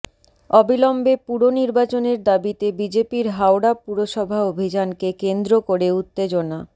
অবিলম্বে পুর নির্বাচনের দাবিতে বিজেপির হাওড়া পুরসভা অভিযানকে কেন্দ্র করে উত্তেজনা